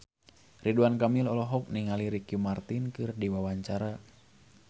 Ridwan Kamil olohok ningali Ricky Martin keur diwawancara